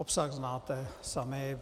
Obsah znáte sami.